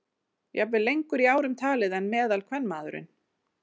Jafnvel lengur í árum talið en meðalkvenmaðurinn.